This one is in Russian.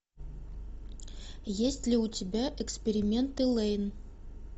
есть ли у тебя эксперименты лэйн